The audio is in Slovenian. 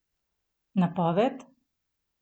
Napoved?